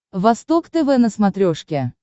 восток тв на смотрешке